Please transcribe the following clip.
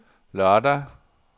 lørdag